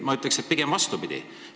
Ma ütleks, et pigem vastupidi.